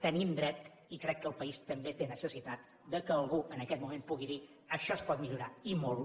tenim dret i crec que el país també té necessitat que algú en aquest moment pugui dir això es pot millorar i molt